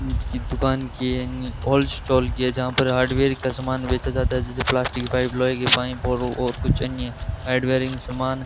ये दुकान की अन्य ओल्ड स्टोल की है जहां पे हार्डवेयर का सामान बेचा जाता है जैसे प्लास्टिक की पाइप लोहे की पाइप और कुछ अन्य ऐड वेयरिंग सामान।